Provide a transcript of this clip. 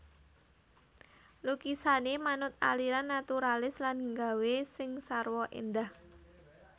Lukisané manut aliran naturalis lan gawé sing sarwa éndah